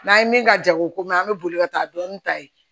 N'an ye min ka jago ko mɛn an bɛ boli ka taa dɔɔni ta yen